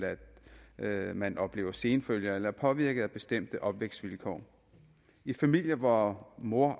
at man oplever senfølger eller er påvirket af bestemte opvækstvilkår i familier hvor mor